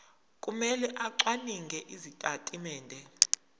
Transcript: kumele acwaninge izitatimende